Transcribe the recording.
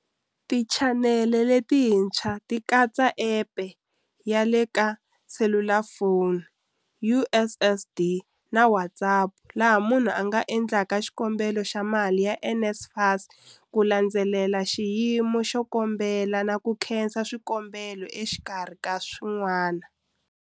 Tichanele letintshwa ti katsa App ya le ka selulafoni, USSD na WhatsApp laha munhu a nga endlaka xikombelo xa mali ya NSFAS, ku landzelela xiyimo xa xikombelo na ku khansela swikombelo exikarhi ka swin'wana.